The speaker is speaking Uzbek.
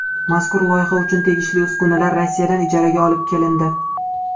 Mazkur loyiha uchun tegishli uskunalar Rossiyadan ijaraga olib kelindi.